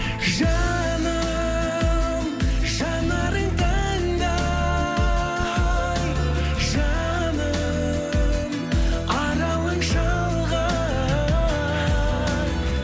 жаным жанарың таңдай жаным аралың шалғай